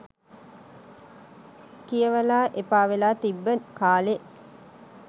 කියවලා එපාවෙලා තිබ්බ කාලේ